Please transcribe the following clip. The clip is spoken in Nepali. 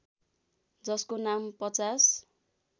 जसको नाम ५०